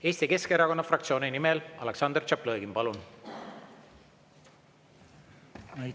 Eesti Keskerakonna fraktsiooni nimel Aleksandr Tšaplõgin, palun!